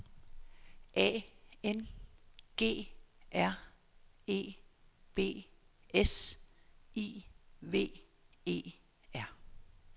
A N G R E B S I V E R